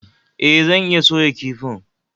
E, zan iya soya kifin